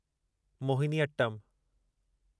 Mohiniyattam